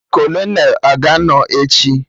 Kolonel a ga-anọ echi?